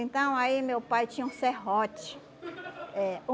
Então aí meu pai tinha um serrote. Eh